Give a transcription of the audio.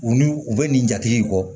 U n'u u bɛ nin jate in kɔ